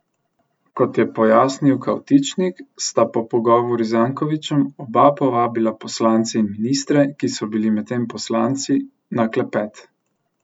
Kot je pojasnil Kavtičnik, sta po pogovoru z Jankovićem oba povabila poslance in ministre, ki so bili predtem poslanci, na klepet.